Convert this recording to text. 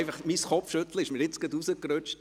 Mein Kopfschütteln ist mir gerade rausgerutscht.